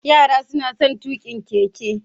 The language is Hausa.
Yara suna son tuƙa keke